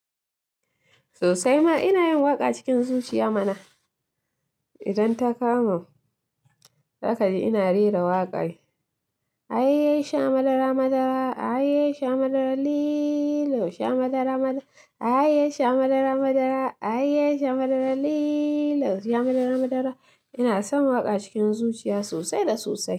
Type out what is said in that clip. Sosai ma ina yin waƙa cikin zuciya mana. Idan ta kama, za ka ji ina rera waƙa. Aye sha madara madara, ahayye sha madara liiilo, sha madara madara. Ahayye sha madara madara, ahayye sha madara liiilo, sha madara madara. Ina son waƙa cikin zuciya sosai da sosai.